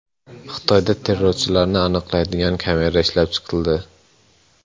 Xitoyda terrorchilarni aniqlaydigan kamera ishlab chiqildi.